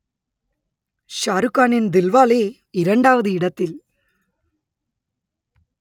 ஷாருக்கானின் தில்வாலே இரண்டாவது இடத்தில்